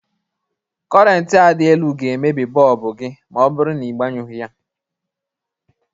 Kọrentị a dị elu ga emebi bọlbụ gi ma ọ bụrụ na i gbanyụghi ha.